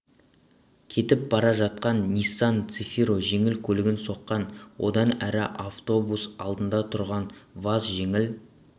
кетіп бара жатқан ниссан цефиро жеңіл көлігін соққан одан әрі автобус алдында тұрған ваз жеңіл